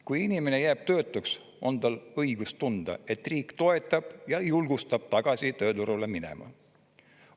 Kui inimene jääb töötuks, on tal õigus tunda, et riik toetab ja julgustab tagasi tööturule minema.